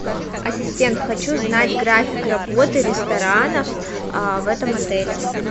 ассистент хочу знать график работы ресторанов в этом отеле